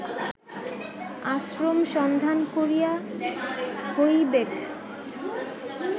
আশ্রম সন্ধান করিয়া হইবেক